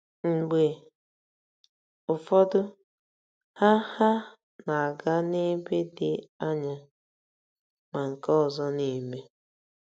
Mgbe ụfọdụ, ha ha na-aga n'ebe dị anya, ma nke ọzọ na-eme.